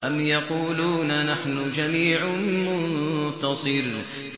أَمْ يَقُولُونَ نَحْنُ جَمِيعٌ مُّنتَصِرٌ